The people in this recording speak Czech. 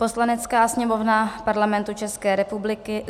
"Poslanecká sněmovna Parlamentu České republiky: